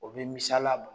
O bɛ misala